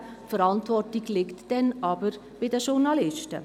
Die Verantwortung liegt dann jedoch bei den Journalisten.